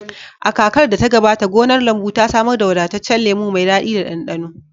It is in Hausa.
A kakar da ta gabata, gonar lambu ta samar da wadataccen lemu mai daɗi da ɗanɗano.